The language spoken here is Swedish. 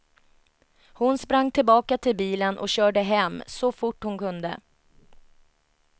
Hon sprang tillbaka till bilen och körde hem, så fort hon kunde.